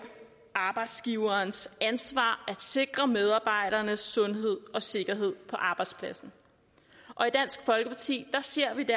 arbejdsgiverens ansvar at sikre medarbejdernes sundhed og sikkerhed på arbejdspladsen og i dansk folkeparti ser vi det